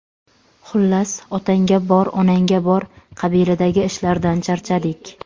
Xullas, otangga bor, onangga bor qabilidagi ishlardan charchadik.